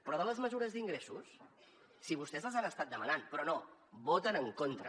però de les mesures d’ingressos si vostès els han estat demanant però no hi voten en contra